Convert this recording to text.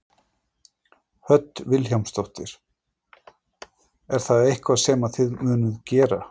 Hödd Vilhjálmsdóttir: Er það eitthvað sem að þið munuð gera?